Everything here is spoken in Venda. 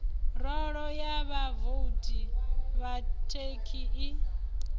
rolo ya vhavouti vhakhethi i